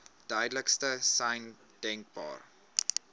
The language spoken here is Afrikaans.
duidelikste sein denkbaar